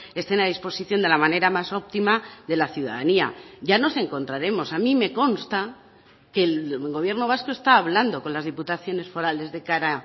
estén a disposición de la manera más optima de la ciudadanía ya nos encontraremos a mí me consta que el gobierno vasco está hablando con las diputaciones forales de cara